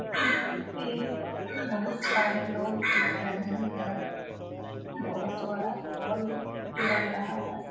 यहाँ पर बहुत सारे लोग देख रहे हैं बहुत बड़ा हॉल लग रहा है।